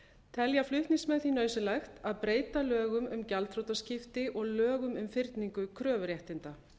telja flutningsmenn því nauðsynlegt að breyta lögum um gjaldþrotaskipti og lögum um fyrningu kröfuréttinda